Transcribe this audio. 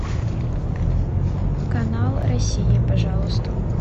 канал россия пожалуйста